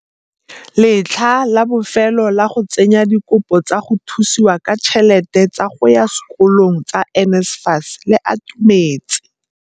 Letlha la bofelo la go tsenya dikopo tsa go thusiwa ka ditšhelete tsa go ya sekolong tsa NSFAS le atumetse.